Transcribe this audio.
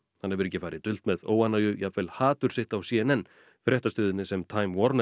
hann hefur ekki farið dult með óánægju jafnvel hatur sitt á c n n fréttastöðinni sem time